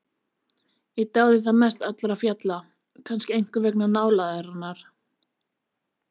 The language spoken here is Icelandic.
Ég dáði það mest allra fjalla, kannski einkum vegna nálægðarinnar.